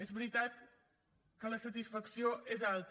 és veritat que la satisfacció és alta